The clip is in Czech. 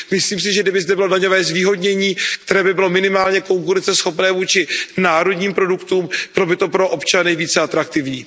Myslím si, že kdyby zde bylo daňové zvýhodnění, které by bylo minimálně konkurenceschopné vůči národním produktům, bylo by to pro občany více atraktivní.